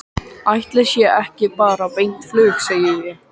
Ætli sé ekki bara beint flug, segi ég.